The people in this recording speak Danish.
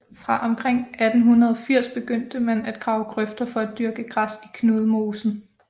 Fra omkring 1880 begyndte man at grave grøfter for at dyrke græs i Knudmosen